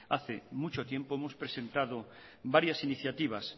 hace mucho tiempo hemos presentado varias iniciativas